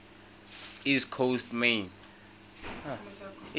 east coast maine